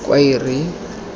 khwaere